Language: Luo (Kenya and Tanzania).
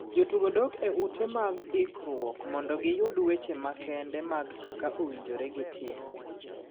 Jotugo dok e ute mag ikruok mondo giyud weche makende mag kaka owinjore gi tim